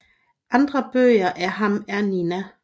Andre bøger af ham er Nina